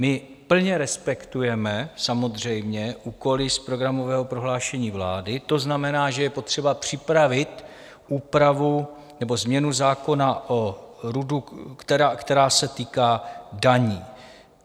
My plně respektujeme samozřejmě úkoly z programového prohlášení vlády, to znamená, že je potřeba připravit úpravu nebo změnu zákona o RUDu, která se týká daní.